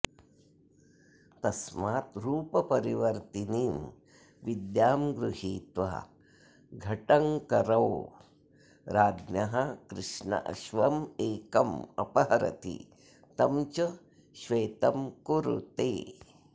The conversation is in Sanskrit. तस्माद् रूपपरिवर्तिनीं विद्यां गृहीत्वा घटङ्करो राज्ञः कृष्णाश्वमेकम् अपहरति तं च श्वेतं कुरुते